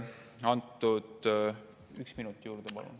Üks minut juurde palun.